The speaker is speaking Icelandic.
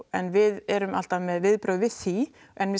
en við erum alltaf með viðbrögð við því